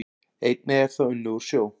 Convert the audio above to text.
Einnig er það unnið úr sjó